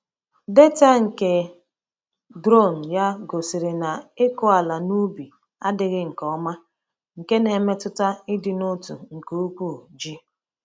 Data nke drone ya gosiri na ịkụ ala n’ubi adịghị nke ọma, nke na-emetụta ịdị n'otu nke ụkwụ ji.